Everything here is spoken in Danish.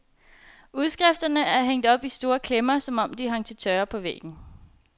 Udskrifterne er hængt op i store klemmer, som om de hang til tørre på væggen.